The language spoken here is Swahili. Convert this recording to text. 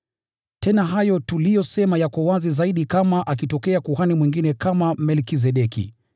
Tena hayo tuliyosema yako wazi zaidi kama akitokea kuhani mwingine kama Melkizedeki,